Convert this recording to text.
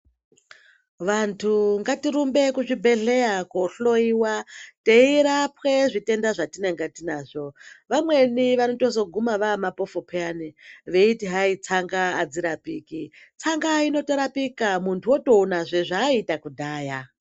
Vantu ngatirumbe kuzvibhehleya kohloiwa teirapwa zvitenda zvatinenge tinazvo vamwemi vanotozoguma vaamapofu peyani veiti tsanga hadzirapiki tsanga inotorapika muntu otoonazve zvaaiita kudhaya.